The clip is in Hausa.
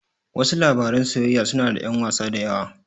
Wasu labaran soyayyar suna da ƴan wasa da yawa.